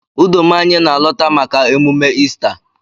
Udoma anyi na alọta maka emume Ista.